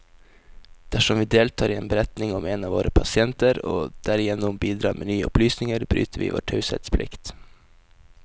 Dersom vi deltar i en beretning om en av våre pasienter, og derigjennom bidrar med nye opplysninger, bryter vi vår taushetsplikt.